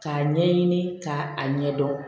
K'a ɲɛɲini k'a a ɲɛdɔn